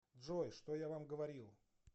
джой что я вам говорил